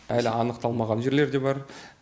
әлі анықталмаған жерлер де бар